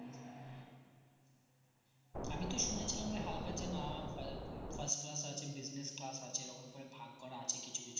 আমি তো শুনেছিলাম যে হালকা যে না উম first class আছে business class আছে এরকম করে ভাগ করা আছে কিছুকিছু